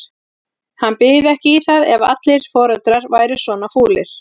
Hann byði ekki í það ef allir foreldrar væru svona fúlir.